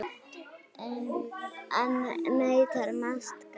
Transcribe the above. Enn neitar Mast að greiða.